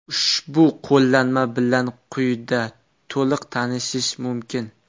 Ushbu qo‘llanma bilan quyida to‘liq tanishish mumkin.